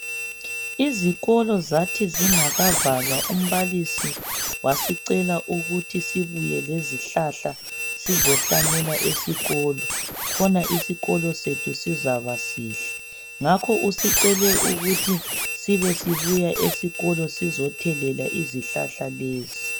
Izikolo zathi zingakavalwa umbalisi wasicela ukuthi sibuye lesihlahla sizohlanyela esikolo khona isikolo sethu sizaba sihle. Ngakho usicele ukuthi sibe sibuya esikolo sizothelela izihlahla lezi.